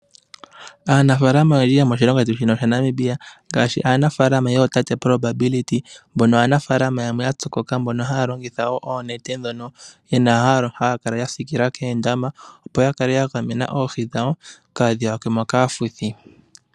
Aanafalama oyendji yomoshilongo shetu shino shaNamibia ngaashi aanafalama yootate Propability mbono aanafalama yamwe ya kotoka mbono haya longitha wo oonete dhoka haya kala ya siikila koondama opo kale ya gamena oohi dhawo kaadhi yakwemo kaafuthi.